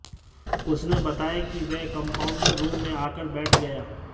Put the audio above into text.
उसने बताया कि वह कंपाउंडर रूम में आकर बैठ गया